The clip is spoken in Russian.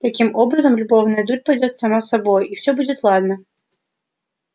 таким образом любовная дурь пойдёт сама собою и всё будет ладно